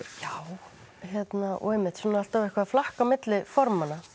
já og einmitt alltaf eitthvað að flakka á milli formanna